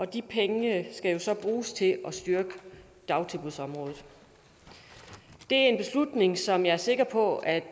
de penge skal så bruges til at styrke dagtilbudsområdet det er en beslutning som jeg er sikker på at